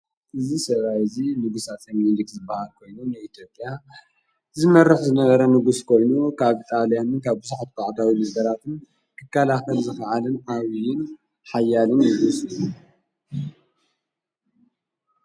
እዝ ሰራይ እዙ ንጉሳት ተምኒንድክ ዝበሃር ኮይኑ ነኢቶብያ ዝመርፍ ዝነበረ ንጉሥ ኮይኑ ካብ ኢጣልያንን ካብ ብዛሕትባዕዳዊ ምበራትን ክካላኸን ዝኸዓልን ኣውይን ኃያልን ንጉስ እዩ።